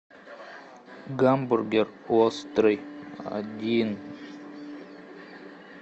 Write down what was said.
гамбургер острый один